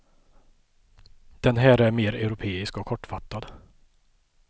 Den här är mer europeisk och kortfattad.